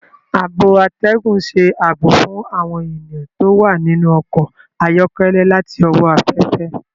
Ààbò atẹgun n ṣe ààbò fún awọn ènìyàn ti o wa ninu ọkọ ayọkẹlẹ láti owó aféfé.